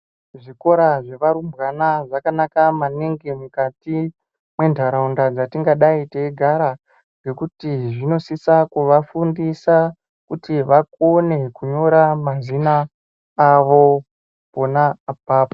Zvikora zvevarumbwana zvakanaka maningi mukati mwentaraunda dzatingadai teigara ngekuti zvinosisa kuvafundisa kuti vakone kunyora mazina avo pona apapo.